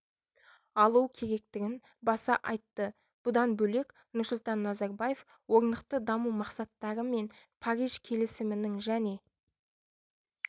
алу керектігін баса айтты бұдан бөлек нұрсұлтан назарбаев орнықты даму мақсаттары мен париж келісімінің және